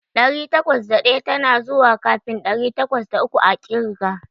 Ɗari takwas da ɗaya tana zuwa kafin ɗari takwas da uku a ƙirga.